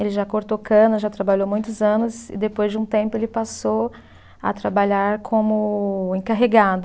Ele já cortou cana, já trabalhou muitos anos e depois de um tempo ele passou a trabalhar como encarregado.